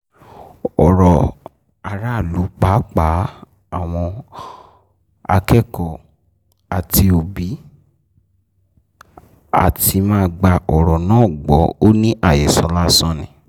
ó rọ aráàlú pàápàá àwọn akẹ́kọ̀ọ́ àti òbí láti má gba ọ̀rọ̀ náà gbọ́ ò ní àhesọ lásán ni